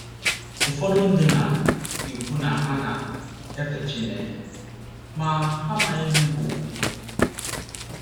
Ụfọdụ ndị na - ekwu na ha na - efe Chineke, ma, ha amaghị ihe bụ́ “ okwukwe. ”